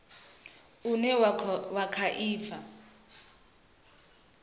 une wa kha i bva